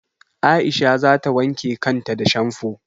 Aisha za ta wanke kan ta da shamfo.